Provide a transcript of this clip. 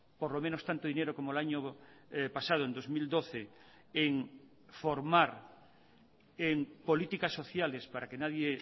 por lo menos tanto dinero como el año pasado en dos mil doce en formar en políticas sociales para que nadie